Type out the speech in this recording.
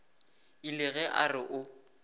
ile ge a re o